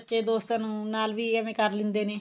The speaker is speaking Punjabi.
ਦੋਸਤਾਂ ਨੂੰ ਨਾਲ ਵੀ ਐਵੇਂ ਕਰ ਲਿੰਦੇ ਨੇ